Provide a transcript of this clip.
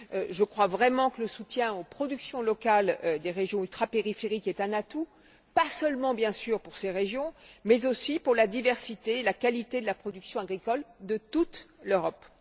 Je crois vraiment que le soutien aux productions locales des régions ultrapériphériques est un atout, pas seulement bien sûr pour ces régions, mais aussi pour la diversité et la qualité de la production agricole de toute l'Europe.